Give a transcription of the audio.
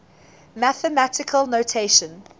mathematical notation